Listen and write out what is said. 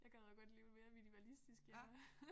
Jeg gad jo godt leve mere minimalistisk ja